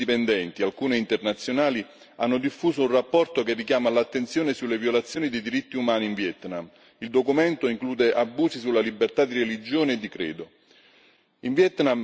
Ventiquattro organizzazioni indipendenti, alcune internazionali, hanno diffuso un rapporto che richiama l'attenzione sulle violazioni dei diritti umani in Vietnam. Il documento include abusi sulla libertà di religione e di credo.